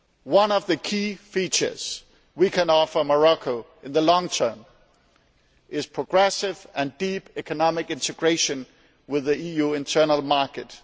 One of the key features we can offer Morocco in the long term is progressive and deep economic integration with the EU internal market.